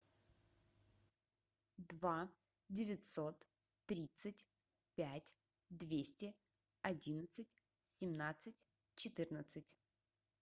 два девятьсот тридцать пять двести одиннадцать семнадцать четырнадцать